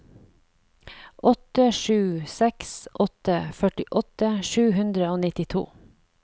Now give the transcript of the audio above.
åtte sju seks åtte førtiåtte sju hundre og nittito